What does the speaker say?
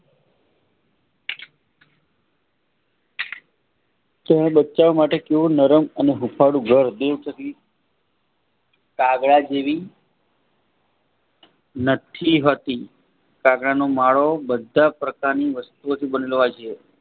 તેઓનુ બચ્ચા માટે કેવું નરમ અને હુફળું ઘર કાગડા જેવી નથલી હતી કાગડાનો માળો બધી પરકાનીઓ વસ્તુ ઓથી બને લો હોય છે.